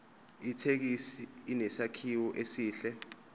ithekisi inesakhiwo esihle